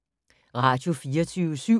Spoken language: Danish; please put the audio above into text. Radio24syv